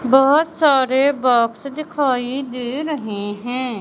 बहोत सारे बॉक्स दिखाई दे रहे हैं।